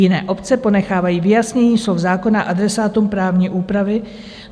Jiné obce ponechávají vyjasnění slov zákona adresátům právní úpravy.